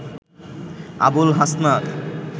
Abul Hasnat